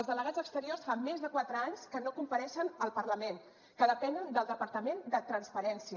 els delegats exteriors fa més de quatre anys que no compareixen al parlament que depenen del departament de transparència